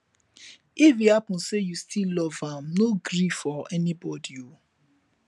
if e hapun sey yu stil luv am no gree for anybodi o